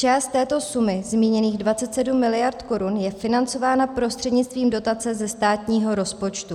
Část této sumy, zmíněných 27 mld. korun, je financována prostřednictvím dotace ze státního rozpočtu.